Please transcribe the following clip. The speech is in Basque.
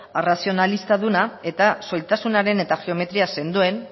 arrazionalistaduna eta soiltasunaren eta geometria sendoen